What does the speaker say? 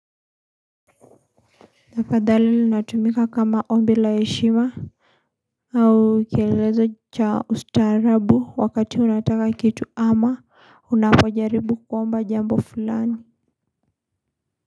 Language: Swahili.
Tafadhali linatumika kama ombi la heshima. Au kielelezo cha ustaarabu wakati unataka kitu ama unapojaribu kuomba jambo fulani.